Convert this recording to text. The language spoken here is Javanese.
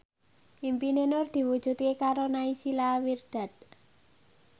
impine Nur diwujudke karo Naysila Mirdad